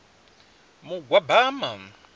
mugwabama